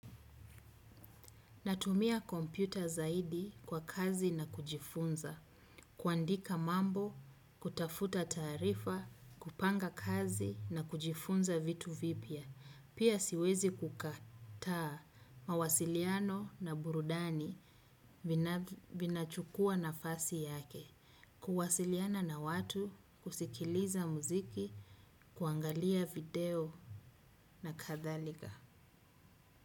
Natumia kompyuta zaidi kwa kazi na kujifunza. Kuandika mambo, kutafuta taarifa, kupanga kazi na kujifunza vitu vipya. Pia siwezi kukataa mawasiliano na burudani vinachukua nafasi yake. Kuwasiliana na watu, kusikiliza muziki, kuangalia video na kadhalika.